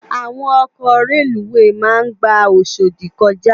Àwón òkò rélúwé má n gbá Oshodi kòjá